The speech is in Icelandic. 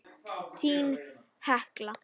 Þín Hekla.